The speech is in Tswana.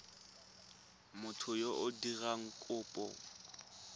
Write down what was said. motho yo o dirang kopo